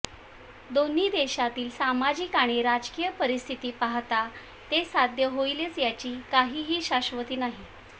दोन्ही देशांतील सामाजिक आणि राजकीय परिस्थिती पाहता ते साध्य होईलच याची काहीही शाश्वती नाही